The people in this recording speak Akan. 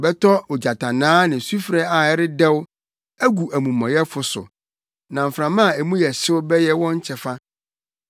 Ɔbɛtɔ ogyatannaa ne sufre a ɛredɛw agu amumɔyɛfo so; na mframa a mu yɛ hyew bɛyɛ wɔn kyɛfa.